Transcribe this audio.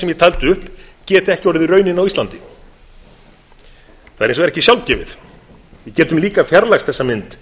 taldi upp geti ekki orðið raunin á íslandi það er hins vegar ekki sjálfgefið við getum líka fjarlægst þessa mynd